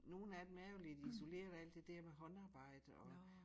Nogen af dem er jo lidt isolerende alt det dér med håndarbejde og